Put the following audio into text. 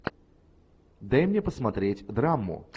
дай мне посмотреть драму